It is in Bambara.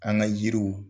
An ka yiriw